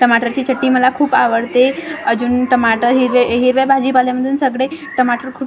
टमाटरची चटणी मला खूप आवडते अजून टमाटर हिरव्या हिरव्या भाजीपाल्यामधून सगडे टमाटर खूप छान --